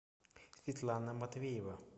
светлана матвеева